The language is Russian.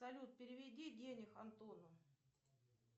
салют переведи денег антону